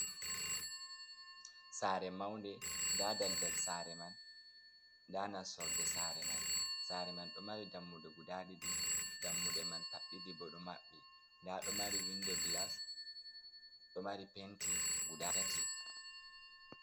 Saare maunde. Nda daldal saare man, nda nastorde saare man. Saare man ɗo mari dammuɗe guda ɗiɗi, dammuɗe man paɗ ɗiɗi bo ɗo maɓɓi, nda ɗo mari windo gilas, ɗo mari penti guda tati.